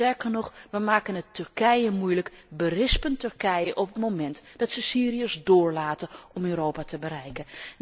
Sterker nog, we maken het Turkije moeilijk, we berispen Turkije op het moment dat ze Syriërs doorlaten om Europa te bereiken.